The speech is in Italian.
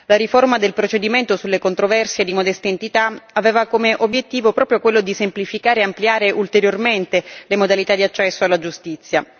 La riforma del procedimento sulle controversie di modesta entità aveva come obiettivo proprio quello di semplificare e ampliare ulteriormente le modalità di accesso alla giustizia.